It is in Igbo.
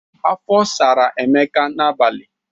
Afọ sara Emeka n'abalị.